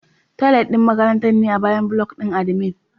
Toilet ɗin makarantar ne a bayan block ɗin admin.